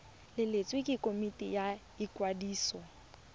letleletswe ke komiti ya ikwadiso